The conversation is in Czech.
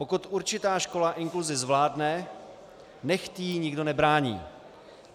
Pokud určitá škola inkluzi zvládne, nechť jí nikdo nebrání.